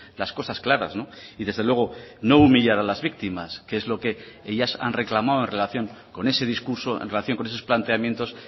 las cosas claras y desde luego no humillar a las víctimas que es lo que ellas han reclamado en relación con ese discurso en relación con esos planteamientos